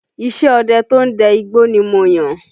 Iṣẹ́ ọdẹ to ń dẹ igbó ni mo yàn